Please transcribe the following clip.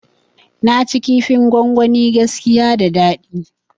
Naci kifin gwangwani gaskiya da dadi